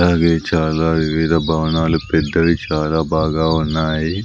అవి చాలా వివిధ భవనాలు పెద్దవి చాలా బాగా ఉన్నాయి.